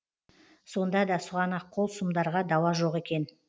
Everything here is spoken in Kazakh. сонда да сұғанақ қол сұмдарға дауа жоқ екен